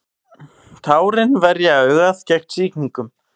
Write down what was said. tárin verja augað gegn sýkingum